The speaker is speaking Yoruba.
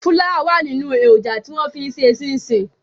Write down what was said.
Fúláwà wà nínú èròǹjà tí wọ́n fi ń ṣe ṣínṣìn.